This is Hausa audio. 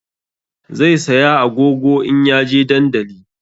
Zai saya agogo in ya je dandali